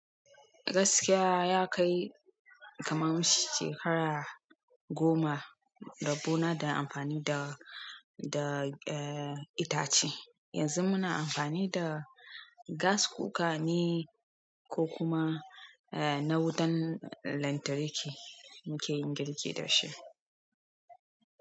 Gaskiya ya kai kaman shekara goma rabbona da amfani da, da eh itace. Yanzu muna amfani da gas kuka ne ko kuma eh na wutan lantarki muke yin girki dashi.